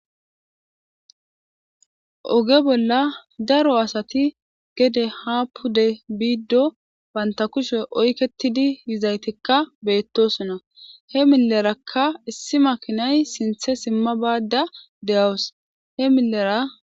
Oge bolla daro asati gede ha pude biiddo banta kushe oyketidi yizaytikka beettosona he millerakka issi makinay sinthe simma baadda deyawus he millera.